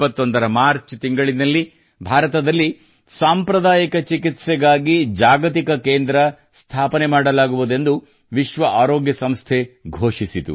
2021 ರ ಮಾರ್ಚ್ ತಿಂಗಳಿನಲ್ಲಿ ಭಾರತದಲ್ಲಿ ಸಾಂಪ್ರದಾಯಿಕ ಚಿಕಿತ್ಸೆಗಾಗಿ ಜಾಗತಿಕ ಕೇಂದ್ರ ಸ್ಥಾಪನೆ ಮಾಡಲಾಗುವುದೆಂದು ವಿಶ್ವ ಆರೋಗ್ಯ ಸಂಸ್ಥೆ ಘೋಷಿಸಿತು